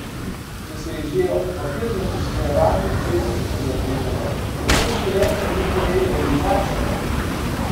Če se je že ob papirnem usklajevanju ukrepov tako zapletalo, kako bo šele pri njihovi realizaciji?